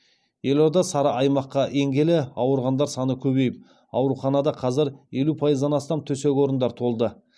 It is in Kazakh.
елорда сары аймаққа енгелі ауырғандар саны көбейіп ауруханада қазір елу пайыздан астам төсек орындар толды